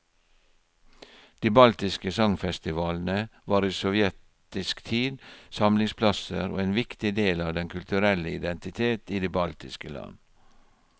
De baltiske sangfestivalene var i sovjetisk tid samlingsplasser og en viktig del av den kulturelle identitet i de baltiske land.